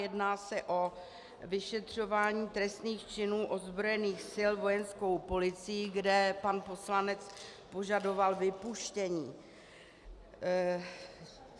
Jedná se o vyšetřování trestných činů ozbrojených sil vojenskou policií, kde pan poslanec požadoval vypuštění.